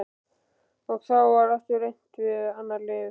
Og þá var aftur reynt við annað lyf.